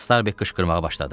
Starbek qışqırmağa başladı.